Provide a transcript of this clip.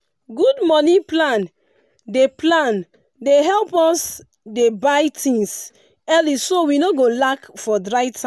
good money plan dey plan dey help us dey buy tins early so we no go lack for dry time.